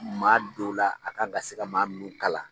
Maa don la a kan ka se ka maa minnu kalan.